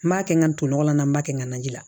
N b'a kɛ n ka to nɔgɔ la n b'a kɛ n ka naji la